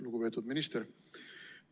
Lugupeetud minister!